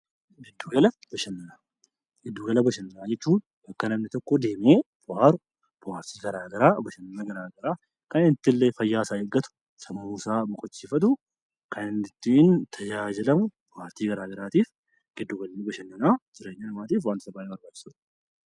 Giddu gala bashannanaa Giddu gala jechuun kan namni tokko deemee buhaaru, buhaarsi gara garaa, bashananni gara garaa kan itti illee fayyaa isaa eeggatu, sammuu isaa boqochiifatu, kan inni ittiin tajaajilamu, bohaartii gara garaatiif giddu galli bashannanaa jiraanya namaatiif wantoota barbaachisoodha.